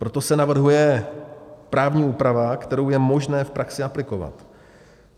Proto se navrhuje právní úprava, kterou je možné v praxi aplikovat.